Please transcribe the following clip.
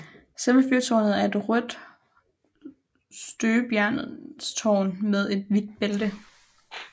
Selve fyrtårnet er et rødt støbejernstårn med et hvidt bælte